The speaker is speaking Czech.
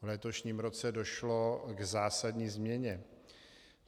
V letošním roce došlo k zásadní změně.